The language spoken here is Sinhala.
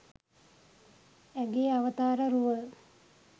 ඇගේ අවතාර රුව